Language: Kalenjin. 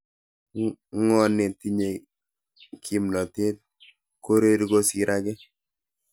Ngone tinyei kimnatet koreri kosir age?